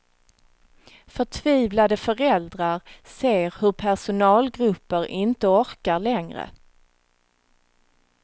Förtvivlade föräldrar ser hur personalgrupper inte orkar längre.